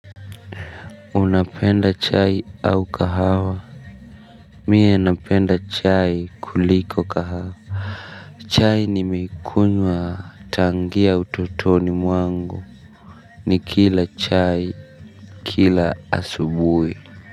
Unapenda chai au kahawa. Mie napenda chai kuliko kahawa. Chai nimekunywa tangia utotoni mwangu. Nikila chai kila asubui.